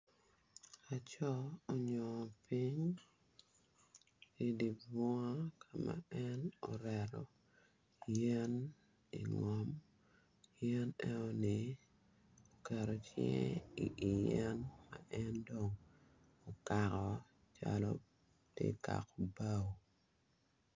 Laco onyongo piny idye bunga ka ma en oreto yen ingom yen enoni oketo cinge iyen ma en dong okako calo tye kako bao.